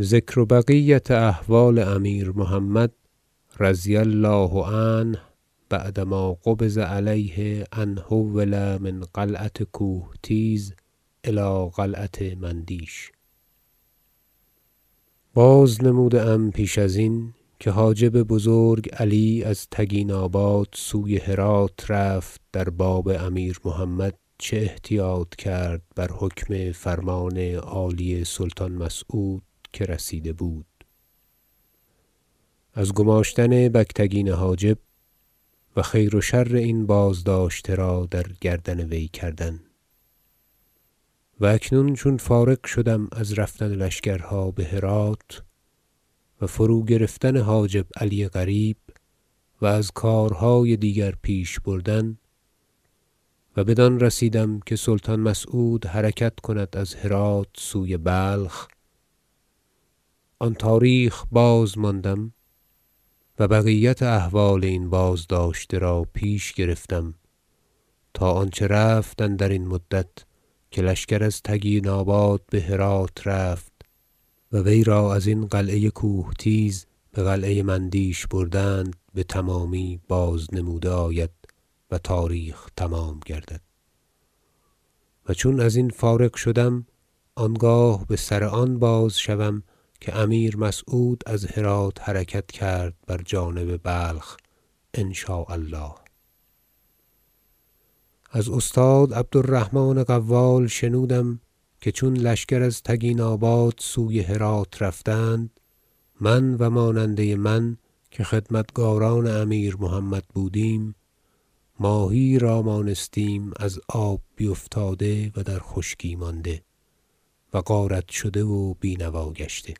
ذکر بقیة أحوال امیر محمد -رضي الله عنه- بعد ما قبض علیه إلی أن حول من قلعة کوهتیز إلی قلعة مندیش بازنموده ام پیش ازین که حاجب بزرگ علی از تگیناباد سوی هرات رفت در باب امیر محمد چه احتیاط کرد بر حکم فرمان عالی سلطان مسعود که رسیده بود از گماشتن بگتگین حاجب و خیر و شر این بازداشته را در گردن وی کردن و اکنون چون فارغ شدم از رفتن لشکرها به هرات و فروگرفتن حاجب علی قریب و از کارهای دیگر پیش بردن و بدان رسیدم که سلطان مسعود حرکت کند از هرات سوی بلخ آن تاریخ بازماندم و بقیت احوال این بازداشته را پیش گرفتم تا آنچه رفت اندرین مدت که لشکر از تگیناباد به هرات رفت و وی را ازین قلعه کوهتیز به قلعه مندیش بردند بتمامی بازنموده آید و تاریخ تمام گردد و چون ازین فارغ شدم آنگاه به سر آن باز شوم که امیر مسعود از هرات حرکت کرد بر جانب بلخ إن شاء الله از استاد عبدالرحمن قوال شنودم که چون لشکر از تگیناباد سوی هرات رفتند من و ماننده من که خدمتگاران امیر محمد بودیم ماهی یی را مانستیم از آب بیفتاده و در خشکی مانده و غارت شده و بینوا گشته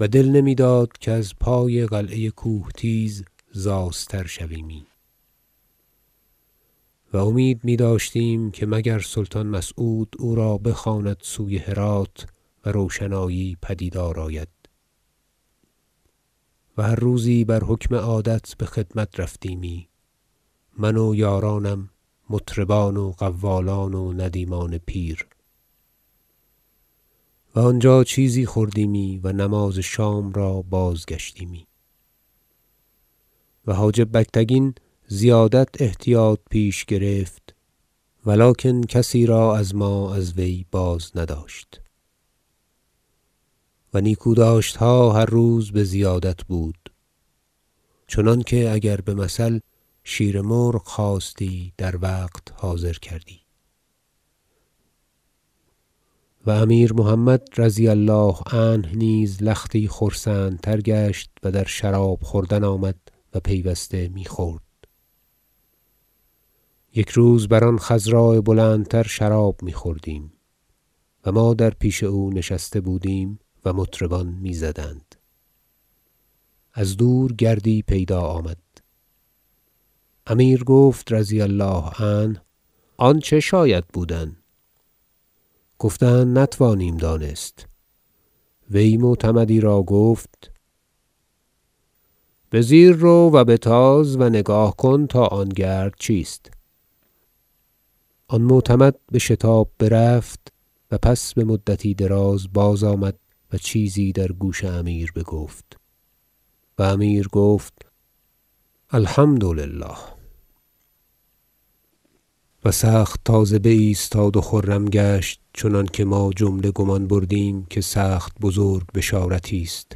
و دل نمیداد که از پای قلعه کوهتیز زاستر شویمی و امید میداشتیم که مگر سلطان مسعود او را بخواند سوی هرات و روشنایی پدیدار آید و هر روزی بر حکم عادت به خدمت رفتیمی من و یارانم مطربان و قوالان و ندیمان پیر و آنجا چیزی خوردیمی و نماز شام را بازگشتیمی و حاجب بگتگین زیادت احتیاط پیش گرفت ولکن کسی را از ما از وی بازنداشت و نیکوداشتها هر روز بزیادت بود چنانکه اگر بمثل شیر مرغ خواستی در وقت حاضر کردی و امیر محمد -رضی الله عنه- نیز لختی خرسندتر گشت و در شراب خوردن آمد و پیوسته میخورد یک روز بر آن خضراء بلندتر شراب میخوردیم و ما در پیش او نشسته بودیم و مطربان میزدند از دور گردی پیدا آمد امیر گفت -رضی الله عنه- آن چه شاید بود گفتند نتوانیم دانست وی معتمدی را گفت به زیر رو و بتاز و نگاه کن تا آن گرد چیست آن معتمد بشتاب برفت و پس بمدتی دراز بازآمد و چیزی در گوش امیر بگفت و امیر گفت الحمد لله و سخت تازه بایستاد و خرم گشت چنانکه ما جمله گمان بردیم که سخت بزرگ بشارتی است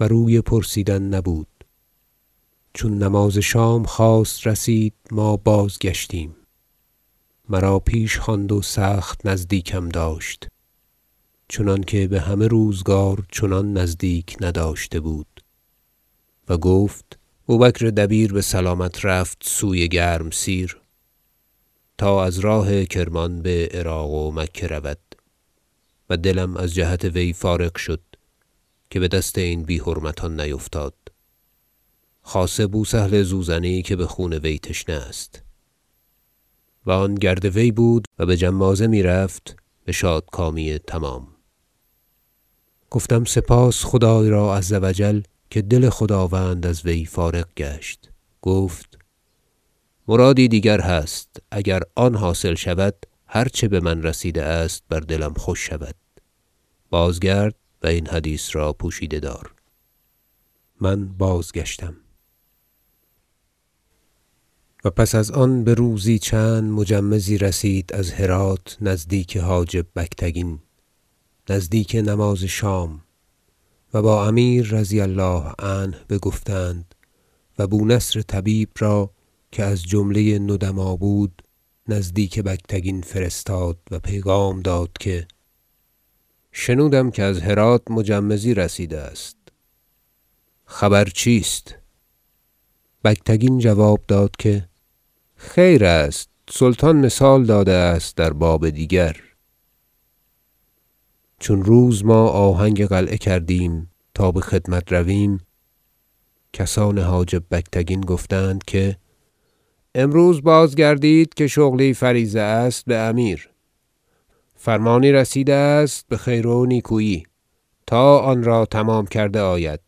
و روی پرسیدن نبود چون نماز شام خواست رسید ما بازگشتیم مرا تنها پیش خواند و سخت نزدیکم داشت چنانکه به همه روزگار چنان نزدیک نداشته بود و گفت بوبکر دبیر بسلامت رفت سوی گرمسیر تا از راه کرمان به عراق و مکه رود و دلم از جهت وی فارغ شد که به دست این بی حرمتان نیفتاد خاصه بوسهل زوزنی که به خون وی تشنه است و آن گرد وی بود و به جمازه میرفت به شادکامی تمام گفتم سپاس خدای را -عز و جل- که دل خداوند از وی فارغ گشت گفت مرادی دیگر هست اگر آن حاصل شود هر چه به من رسیده است بر دلم خوش شود بازگرد و این حدیث را پوشیده دار من بازگشتم و پس از آن بروزی چند مجمزی رسید از هرات نزدیک حاجب بگتگین نزدیک نماز شام و با امیر -رضی الله عنه- بگفتند و بونصر طبیب را که از جمله ندما بود نزدیک بگتگین فرستاد و پیغام داد که شنودم که از هرات مجمزی رسیده است خبر چیست بگتگین جواب داد که خیر است سلطان مثال داده است در باب دیگر چون روز ما آهنگ قلعه کردیم تا به خدمت رویم کسان حاجب بگتگین گفتند که امروز بازگردید که شغلی فریضه است به امیر فرمانی رسیده است بخیر و نیکویی تا آنرا تمام کرده آید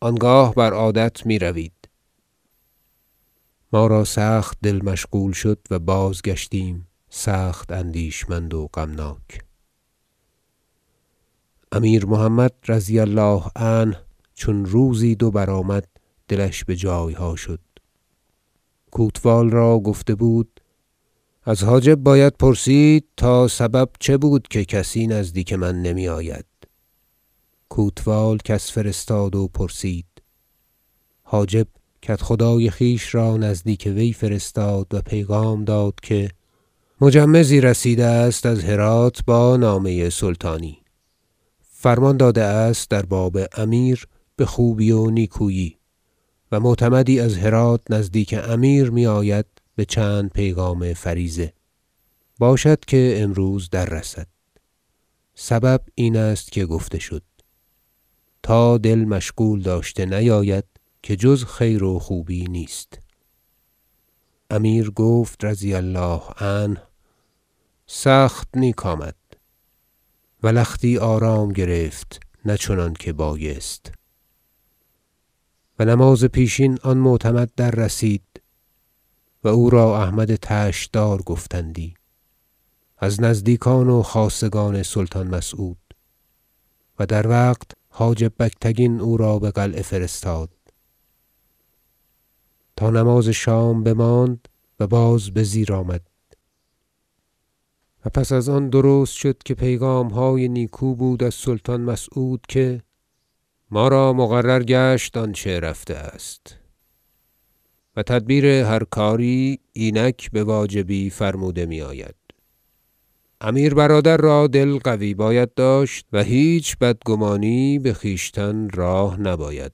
آنگاه بر عادت میروید ما را سخت دل مشغول شد و بازگشتیم سخت اندیشمند و غمناک امیر محمد -رضی الله عنه- چون روزی دو بر آمد دلش به جایها شد کوتوال را گفته بود که از حاجب باید پرسید تا سبب چه بود که کسی نزدیک من نمی آید کوتوال کس فرستاد و پرسید حاجب کدخدای خویش را نزدیک وی فرستاد و پیغام داد که مجمزی رسیده است از هرات با نامه سلطان فرمانی داده است در باب امیر بخوبی و نیکویی و معتمدی از هرات نزدیک امیر می آید به چند پیغام فریضه باشد که امروز دررسد سبب این است که گفته شد تا دل مشغول داشته نیاید که جز خیر و خوبی نیست امیر گفت -رضی الله عنه سخت نیک آمد و لختی آرام گرفت نه چنانکه بایست و نماز پیشین آن معتمد دررسید و او را احمد طشت دار گفتندی از نزدیکان و خاصگان سلطان مسعود و در وقت حاجب بگتگین او را به قلعه فرستاد تا نماز شام بماند و باز به زیر آمد و پس از آن درست شد که پیغامهای نیکو بود از سلطان مسعود که ما را مقرر گشت آنچه رفته است و تدبیر هر کاری اینک بواجبی فرموده می آید امیر برادر را دل قوی باید داشت و هیچ بدگمانی به خویشتن راه نباید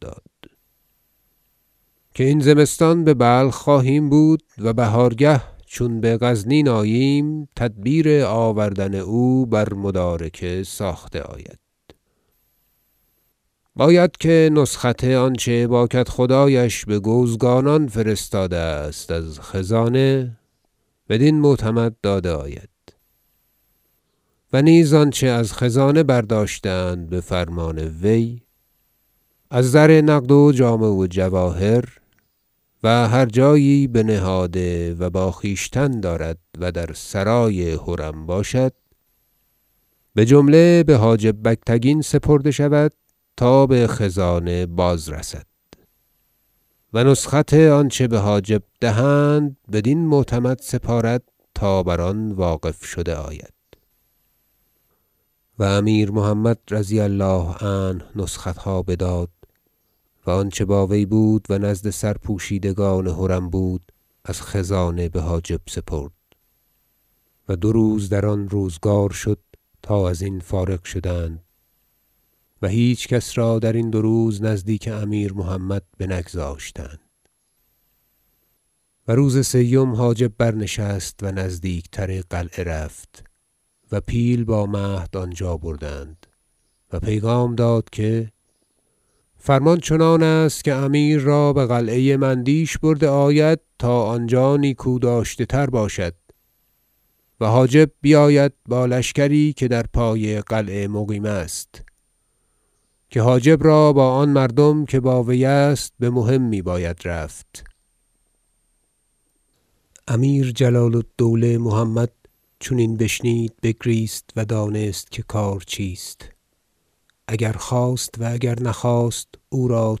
داد که این زمستان به بلخ خواهیم بود و بهارگه چون به غزنین آییم تدبیر آوردن او بر مدارکه ساخته آید باید که نسخت آنچه با کدخدایش به گوزگانان فرستاده است از خزانه بدین معتمد داده آید و نیز آنچه از خزانه برداشته اند به فرمان وی از زر نقد و جامه و جواهر و هر جایی بنهاده و با خویشتن دارد و در سرای حرم باشد بجمله به حاجب بگتگین سپرده شود تا به خزانه بازرسد و نسخت آنچه به حاجب دهند بدین معتمد سپارد تا بر آن واقف شده آید و امیر محمد -رضي الله عنه- نسختها بداد و آنچه با وی بود و نزد سرپوشیدگان حرم بود از خزانه به حاجب سپرد و دو روز در آن روزگار شد تا ازین فارغ شدند و هیچکس را درین دو روز نزدیک امیر محمد بنگذاشتند و روز سیم حاجب برنشست و نزدیک تر قلعه رفت و پیل با مهد آنجا بردند و پیغام داد که فرمان چنان است که امیر را به قلعه مندیش برده آید تا آنجا نیکوداشته تر باشد و حاجب بیاید با لشکری که در پای قلعه مقیم است که حاجب را با آن مردم که با وی است به مهمی باید رفت امیر جلال الدوله محمد چون این بشنید بگریست و دانست که کار چیست اگر خواست و اگر نخواست او را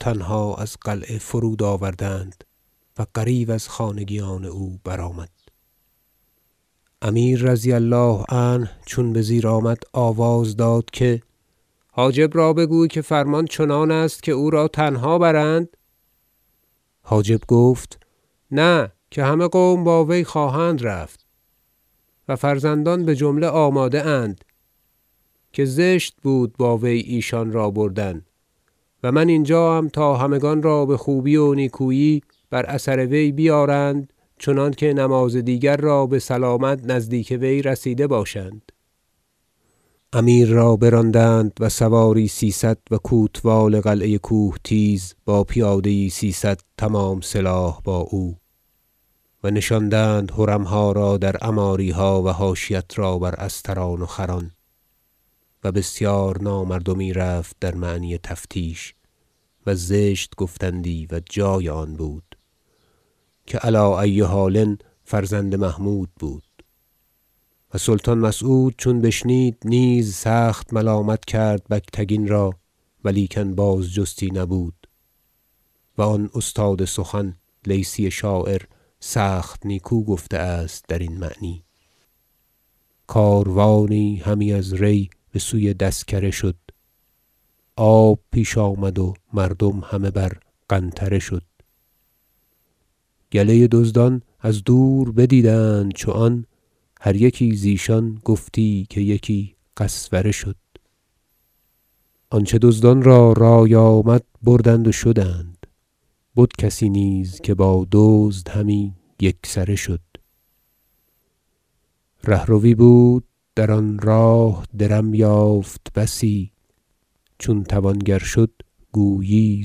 تنها از قلعه فرود آوردند و غریو از خانگیان او برآمد امیر -رضی الله عنه- چون به زیر آمد آواز داد که حاجب را بگوی که فرمان چنان است که او را تنها برند حاجب گفت نه که همه قوم با وی خواهند رفت و فرزندان بجمله آماده اند که زشت بود با وی ایشان را بردن و من اینجا ام تا همگان را بخوبی و نیکویی بر اثر وی بیارند چنانکه نماز دیگر را بسلامت نزدیک وی رسیده باشند امیر را براندند و سواری سیصد و کوتوال قلعه کوهتیز با پیاده یی سیصد تمام سلاح با او و نشاندند حرمها را در عماریها و حاشیت را بر استران و خران و بسیار نامردمی رفت در معنی تفتیش و زشت گفتندی و جای آن بود که علی ای حال فرزند محمود بود و سلطان مسعود چون بشنید نیز سخت ملامت کرد بگتگین را ولیکن بازجستی نبود و آن استاد سخن لیثی شاعر سخت نیکو گفته است درین معنی و الابیات کاروانی همی از ری به سوی دسکره شد آب پیش آمد و مردم همه بر قنطره شد گله دزدان از دور بدیدند چو آن هر یکی زیشان گفتی که یکی قسوره شد آنچه دزدان را رای آمد بردند و شدند بد کسی نیز که با دزد همی یکسره شد رهروی بود در آن راه درم یافت بسی چون توانگر شد گویی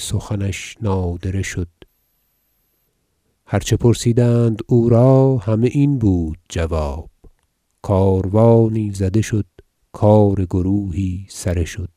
سخنش نادره شد هرچه پرسیدند او را همه این بود جواب کاروانی زده شد کار گروهی سره شد